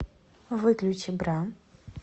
выключи бра